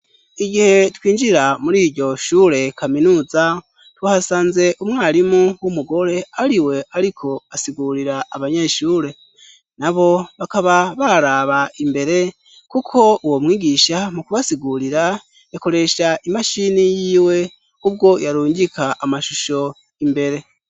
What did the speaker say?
Igihe twinjira muri iryo shure kaminuza tuhasanze umwarimu w'umugore ari we, ariko asigurira abanyeshure na bo bakaba baraba imbere, kuko uwo mwigisha mu kubasigurira yakoresha imashini yiwe ubwo yarungika amashusho imbere.